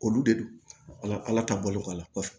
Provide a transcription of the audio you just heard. Olu de don ala ala ta bɔlen kɔ a la kɔfɛ